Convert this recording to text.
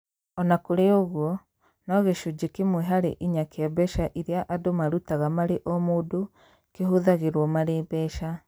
O na kũrĩ ũguo, no gĩcunjĩ kĩmwe harĩ inya kĩa mbeca iria andũ marutaga marĩ o mũndũ kĩhũthagĩrũo marĩ mbeca.